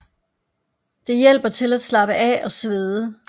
Det hjælper til at slappe af og svede